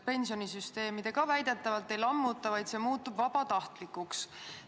Pensionisüsteemi te ka väidetavalt ei lammuta, vaid see muutub vabatahtlikuks.